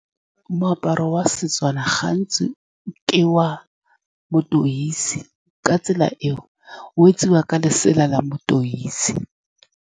Moaparo wa Setswana gantsi ke wa leteisi, ka tsela eo wetsiwa ka lesela la leteisi.